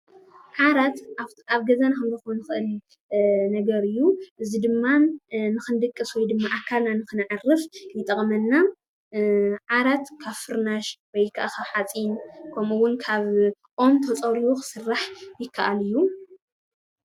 ዓራት አብ ገዛና ክንረክቦ ንክእል ነገር እዩ፡፡ እዚ ድማ ንክንድቅስ ወይ ድማ አካልና ንክነዕርፍ ይጠቅመና፡፡ ዓራት ካብ ፍርናሽ ወይ ከአ ካብ ሓፂን ከምኡውን ካብ ኦም ተፀሪቡ ክስራሕ ይከአል እዩ፡፡